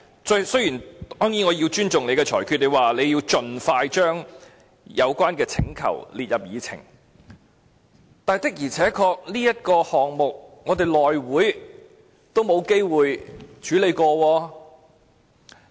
當然，我亦會尊重主席的裁決，就是說要盡快把有關請求列入議程，但這事項的確在內務委員會上也是未有機會處理的。